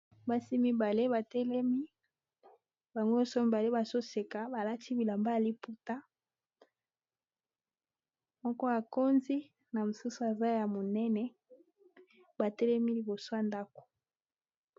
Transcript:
basi mibale batelemi bango nyonso mibale bazoseka balati bilamba ya liputa moko akondi na mosusu aza ya monene batelemi liboso ya ndako